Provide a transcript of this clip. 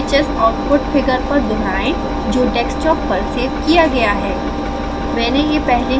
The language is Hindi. इसे sbhs आउटपुट फिगर पर दोहराएँ जो डेस्कटॉप पर सेव किया गया है